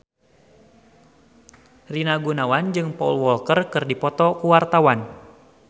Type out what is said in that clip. Rina Gunawan jeung Paul Walker keur dipoto ku wartawan